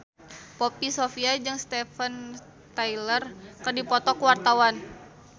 Poppy Sovia jeung Steven Tyler keur dipoto ku wartawan